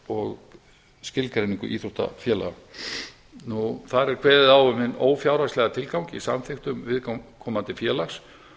og skilgreiningu íþróttafélaga þar er kveðið á um hinn ófjárhagslega samþykktum viðkomandi félags